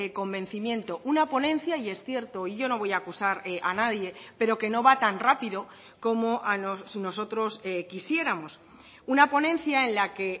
convencimiento una ponencia y es cierto y yo no voy a acusar a nadie pero que no va tan rápido como nosotros quisiéramos una ponencia en la que